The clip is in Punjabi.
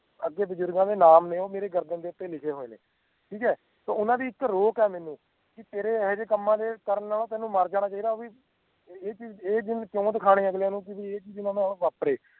ਅੱਗੇ ਬਜ਼ੁਰਗਾਂ ਦੇ ਨਾਮ ਨੇ ਉਹ ਮੇਰੀ ਗਰਦਨ ਦੇ ਉੱਤੇ ਲਿਖੇ ਹੋਏ ਨੇ ਠੀਕ ਹੈ ਤੇ ਓਹਨਾ ਦੀ ਇੱਕ ਰੋਕ ਆ ਮੈਂਨੂੰ ਕਿ ਤੇਰੇ ਇਹੋ ਜਿਹੇ ਕੰਮਾਂ ਦੇ ਕਰਨ ਨਾਲ ਤੈਂਨੂੰ ਮਰ ਜਾਣਾ ਚਾਹੀਦਾ ਆ ਬਈ ਇਹ ਚੀਜ਼ ਇਹ ਦਿਨ ਕਿਉਂ ਦਿਖਾਨੇ ਅਗਲੀਆਂ ਨੂੰ ਕਿ ਬਈ ਇਹ ਚੀਜ਼ ਹੁਣ ਨਾ ਵਾਪਰੇ